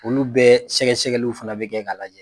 Olu bɛɛ sɛgɛsɛgɛliw fana bɛ kɛ ka lajɛ.